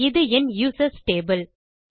இது என் users table